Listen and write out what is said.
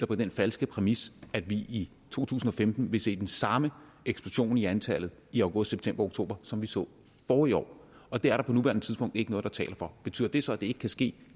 på den falske præmis at vi i to tusind og femten vil se den samme eksplosion i antallet i august september og oktober som vi så forrige år og det er der på nuværende tidspunkt ikke noget der taler for betyder det så at det ikke kan ske